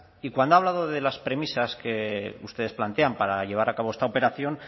y cuando ha hablado de las premisas que ustedes plantean para llevar a cabo esta operación